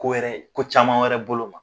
Ko wɛrɛ ko caman wɛrɛ bolo ma.